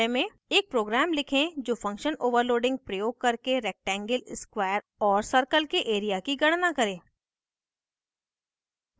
एक प्रोग्राम लिखें जो फंक्शन ओवरलोडिंग उपयोग करके रेक्टेंगल स्क्वायर और सर्कल के एरिया की गणना करे